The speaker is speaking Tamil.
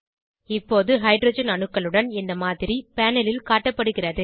இப்போது ஹைட்ரஜன் அணுக்களுடன் இந்த மாதிரி பேனல் ல் காட்டப்படுகிறது